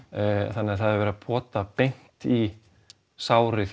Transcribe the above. þannig að það er verið að pota beint í sárið